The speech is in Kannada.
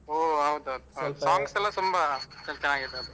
ಒಹ್ ಹೌದೌದು songs ಎಲ್ಲ ತುಂಬ ಚೆನ್ನಾಗಿದೆ ಅದು.